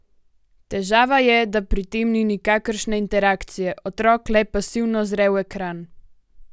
Težava je, da pri tem ni nikakršne interakcije, otrok le pasivno zre v ekran.